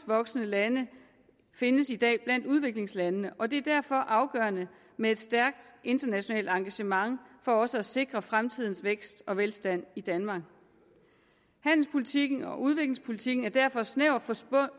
voksende lande findes i dag blandt udviklingslandene og det er derfor afgørende med et stærkt internationalt engagement for også at sikre fremtidens vækst og velstand i danmark handelspolitikken og udviklingspolitikken er derfor snævert